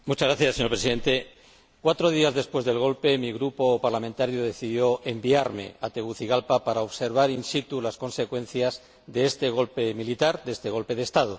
Señor Presidente, cuatro días después del golpe, mi grupo parlamentario decidió enviarme a Tegucigalpa para observar in situ las consecuencias de este golpe militar, de este golpe de Estado.